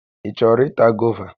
Ị chọrọ ịta gova?